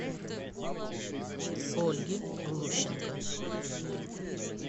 ольги глущенко